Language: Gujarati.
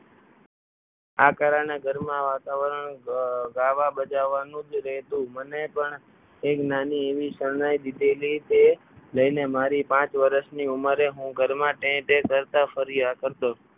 આ કારણે ઘરમાં વાતાવરણ ગાવા બજાવવાનું જ રહેતું મને પણ એક નાની એવી શરણાઈ દીધેલી કે લઈને મારી પાંચ વર્ષની ઉંમરે હું ઘરમાં પે પે કરતા ફર્યા કરતો.